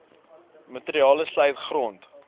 materiale sluit grond